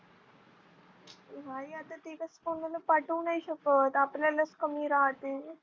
हाय आता ते कसं पाठवू नाही शकत आपल्यालाच कमी राहते.